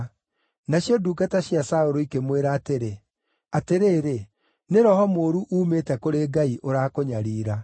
Nacio ndungata cia Saũlũ ikĩmwĩra atĩrĩ, “Atĩrĩrĩ, nĩ roho mũũru uumĩte kũrĩ Ngai ũrakũnyariira.